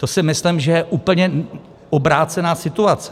To si myslím, že je úplně obrácená situace.